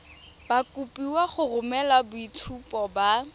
kopiwa go romela boitshupo ba